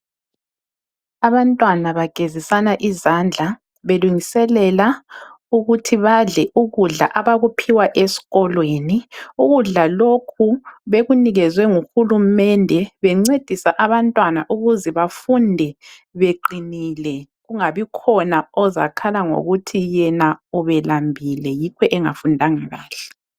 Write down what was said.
Abantwana bagezisana izandla belungiselela ukuthi badle ukudla abakuphiwa esikolweni. Ukudla lokhu bekunikezwe nguhulumende bencedisa abantwana ukuze befunde beqinile, kungabi khona ozakhala ngokuthi yena ubelambile yikho engafundanga kahle.